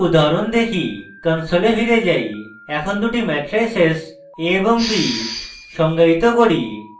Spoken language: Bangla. console ফিরে যাই এখন দুটি ম্যাট্রাইসেস ধরুন a এবং b সংজ্ঞায়িত করি